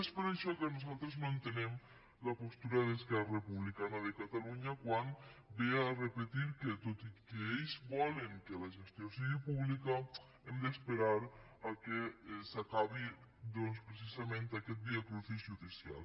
és per això que nosaltres no entenem la postura d’esquerra republicana de catalunya quan ve a repetir que tot i que ells volen que la gestió sigui pública hem d’esperar que s’acabi doncs precisament aquest viacrucis judicial